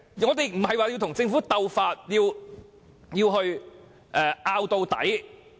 我們並非要與政府鬥法，要爭拗到底。